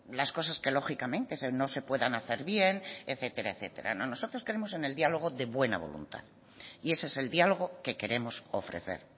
las cosas que lógicamente no se puedan hacer bien etcétera etcétera nosotros creemos en el diálogo de buena voluntad y ese es el diálogo que queremos ofrecer